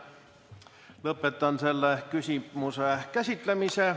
Lõpetan selle küsimuse käsitlemise.